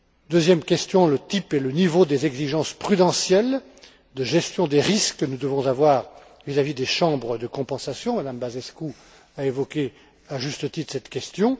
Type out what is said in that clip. Deuxième question le type et le niveau des exigences prudentielles de gestion des risques que nous devons avoir vis à vis des chambres de compensation Mme Băsescu a évoqué à juste titre cette question.